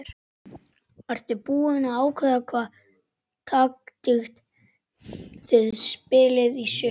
Ertu búinn að ákveða hvaða taktík þið spilið í sumar?